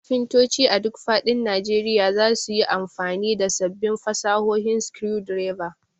Kafintoci a duk faɗin Najeriya za su yi amfani da sabbin fasahohin screwdriver.